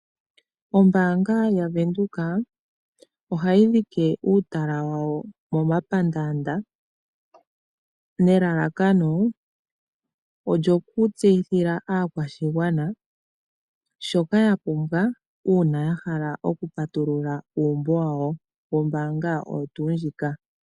Ombanga yaVenduka ohayi dhike uutala wa wo momapandanda nelelakano olyoku tseyithila aakwashigwana shoka ya pumbwa una ya hala oku patulula uumbo wawo wombanga oyo tuu ndjika.